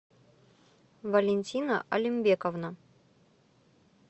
валентина алимбековна